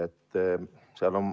Tsensuur.